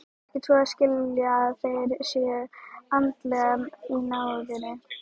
Ekki svo að skilja að þeir séu endilega í náðinni.